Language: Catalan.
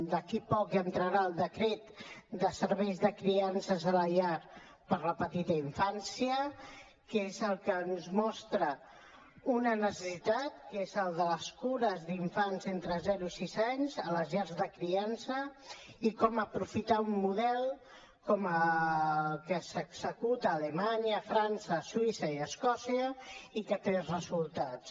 d’aquí a poc entrarà el decret de serveis de criances a la llar per a la petita infància que és el que ens mostra una necessitat que és la de les cures d’infància entre zero i sis anys a les llars de criança i com aprofitar un model com el que s’executa a alemanya a frança a suïssa i a escòcia i que té resultats